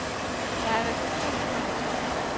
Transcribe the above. Der er reception klokken tolv.